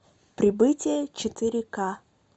прибытие четыре ка